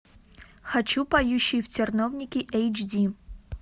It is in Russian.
хочу поющие в терновнике эйч ди